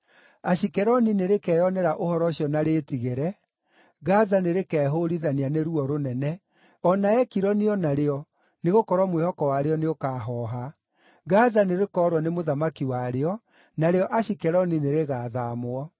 Ashikeloni nĩrĩkeyonera ũhoro ũcio na rĩĩtigĩre, Gaza nĩrĩkehũũrithania nĩ ruo rũnene, o na Ekironi o narĩo, nĩgũkorwo mwĩhoko warĩo nĩũkahooha. Gaza nĩrĩkoorwo nĩ mũthamaki warĩo, narĩo Ashikeloni nĩrĩgathaamwo.